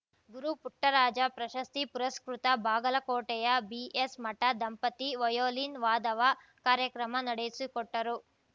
ಗುರು ಪುಟ್ಟರಾಜ ಪ್ರಶಸ್ತಿ ಪುರಸ್ಕೃತ ಬಾಗಲಕೋಟೆಯ ಬಿಎಸ್‌ಮಠ ದಂಪತಿ ವಯೋಲಿನ್‌ ವಾದವ ಕಾರ್ಯಕ್ರಮ ನಡೆಸಿಕೊಟ್ಟರು